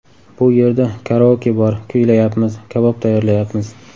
Bu yerda karaoke bor, kuylayapmiz, kabob tayyorlayapmiz.